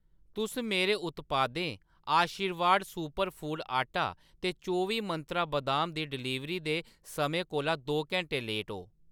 तुस मेरे उत्पादें आशीर्वाद सुपर फूड्स आटा ते चौबी मंत्रा बदाम दी डिलीवरी दे समें कोला दो घैंटें लेट ओ